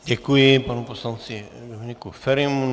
Děkuji panu poslanci Dominiku Ferimu.